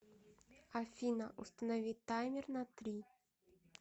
афина установи таймер на три